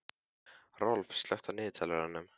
Rolf, slökktu á niðurteljaranum.